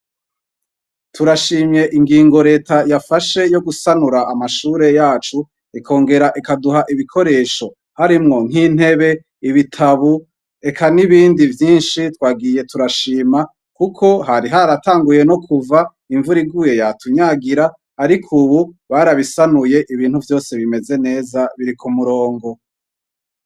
Turashimye ingingo reta yafashe, yogusanura amashure yacu ikongera ikaduha ibikoresho ,harimwo nkintebe ,ibitabu , Eka nibindi vyinshi twagiye turashima , hari haratanguye no kuva ,imvura iguye yatunyagira ariko ubu barabisanuye ubu ibintu bisa neza biri kumurongo.